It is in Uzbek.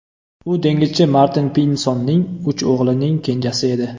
U dengizchi Martin Pinsonning uch o‘g‘lining kenjasi edi.